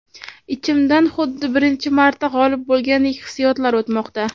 Ichimdan xuddi birinchi marta g‘olib bo‘lgandek hissiyotlar o‘tmoqda.